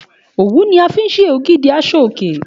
Òwú ni a fi ń ṣe ògidì aṣọ òkè